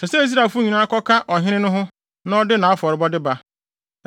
Ɛsɛ sɛ Israelfo nyinaa kɔka ɔheneba no ho na ɔde nʼafɔrebɔde ba.